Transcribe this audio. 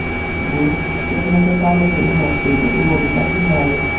Bu sisternaga taalluqli emas”, deydi Ulug‘bek Abdullayev.